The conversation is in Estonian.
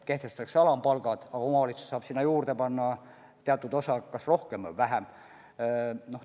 Kehtestatakse alampalgad, omavalitsus saab sinna teatud osa juurde panna, kas rohkem või vähem.